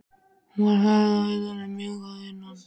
Hún var hörð að utan, en mjúk að innan.